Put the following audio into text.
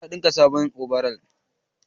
eh na dinka sabon obaral